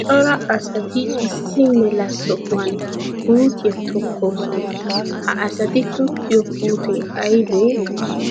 Cora asatti issi mela sohuwan puutiyaa tokkosonna, ha asatti tokkiyo puuttee aybee?